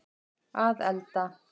að elda